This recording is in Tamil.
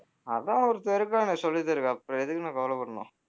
அதான் ஒருத்தன் இருக்கானே சொல்லித்தருவான் அப்புறம் எதுக்கு நான் கவலைப்படணும்